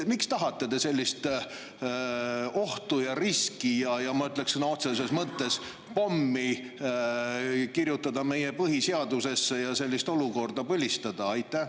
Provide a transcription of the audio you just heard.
Miks te tahate sellist ohtu ja riski, ma ütleks, et sõna otseses mõttes pommi kirjutada meie põhiseadusesse ja sellist olukorda põlistada?